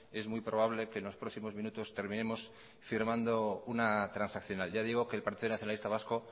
es muy probable que en los próximos minutos terminemos firmando una transaccional ya digo que el partido nacionalista vasco